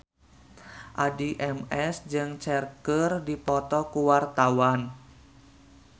Addie MS jeung Cher keur dipoto ku wartawan